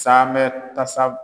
Saamɛ tasa